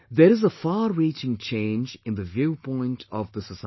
There is a farreaching change in the viewpoint of the society